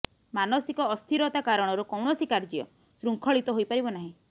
ମାନସିକ ଅସ୍ଥିରତା କାରଣରୁ କୌଣସି କାର୍ଯ୍ୟ ଶୃଙ୍ଖଳିତ ହୋଇପାରିବ ନାହିଁ